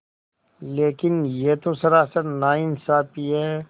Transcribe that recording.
लेकिन यह तो सरासर नाइंसाफ़ी है